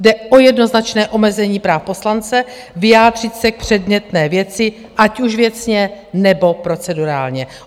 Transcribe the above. Jde o jednoznačné omezení práv poslance vyjádřit se k předmětné věci, ať už věcně, nebo procedurálně.